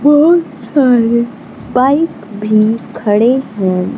बहोत सारे बाइक भी खड़े हैं।